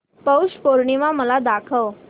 पौष पौर्णिमा मला दाखव